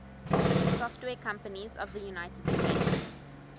software companies of the united states